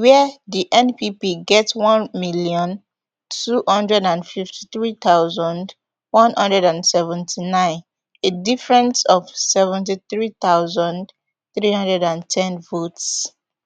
wia di npp get one million, two hundred and fifty-three thousand, one hundred and seventy-nine a difference of seventy-three thousand, three hundred and ten votes